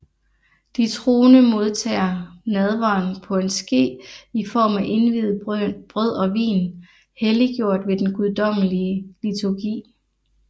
De troende modtager nadveren på en ske i form af indviet brød og vin helliggjort ved den guddommelige liturgi